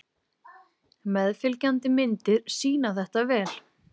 Meðfylgjandi myndir sýna þetta vel.